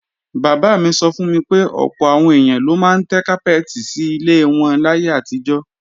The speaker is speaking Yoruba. Bàbá mi sọ fún mi pé ọ̀pọ̀ àwọn èèyàn ló máa ń tẹ́ kápẹ́ẹ̀tì sí ilẹ̀ wọn láyé àtijọ́